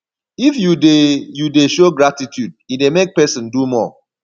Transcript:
if you de you de show gratitude e dey make persin do more